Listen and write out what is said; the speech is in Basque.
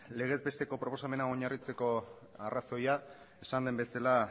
legez besteko proposamena oinarritzeko arrazoia esan den bezala